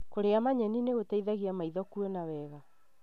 Kũrĩa manyeni nĩgũteithagia maitho kuona wega.